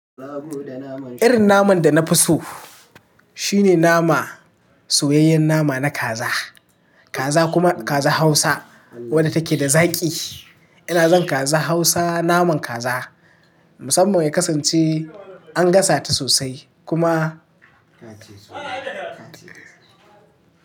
Irin naman da na fi so shine nama soyayyen nama na kaza. Kaza kuma kazar Hausa wadda take da zaƙi. Ina san kazar Hausa naman kaza musamman ya kasance an gasa ta sosai kuma.